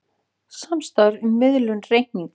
Samstarf um miðlun reikninga